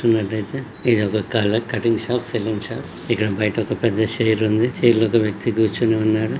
చుస్తునట్టు అయ్యతే ఇదొక cutting shop salon shop ఇక్కడ బయట ఒక పెద్ద చైర్ ఉంది. చైర్ లో ఒక వ్యక్తి కూర్చొని ఉన్నాడు.